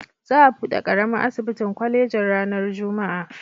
Za a buɗe ƙaramin asibitin kwalejin ranar Juma'a.